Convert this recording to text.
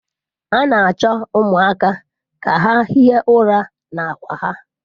A na-achọ ụmụaka ka ha hie ụra na akwa ha.